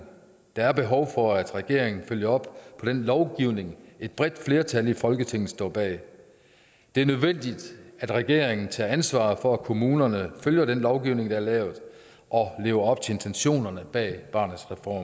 der er behov for at regeringen følger op på den lovgivning et bredt flertal i folketinget står bag det er nødvendigt at regeringen tager ansvar for at kommunerne følger den lovgivning der er lavet og lever op til intentionerne bag barnets reform